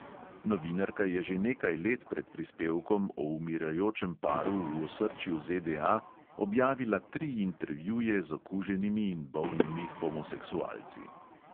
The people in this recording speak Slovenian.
Novinarka je že nekaj let pred prispevkom o umirajočem paru v osrčju ZDA objavila tri intervjuje z okuženimi in bolnimi homoseksualci.